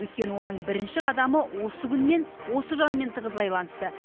өйткені оның бірінші қадамы осы күнмен осы жанмен тығыз байланысты